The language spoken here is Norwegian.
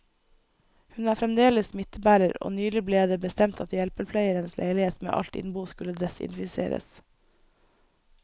Hun er fremdeles smittebærer, og nylig ble det bestemt at hjelpepleierens leilighet med alt innbo skulle desinfiseres.